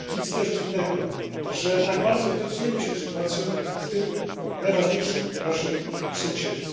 Nic też dziwnego, że tak bardzo interesujemy się sytuacją u tego najważniejszego naszego sąsiada.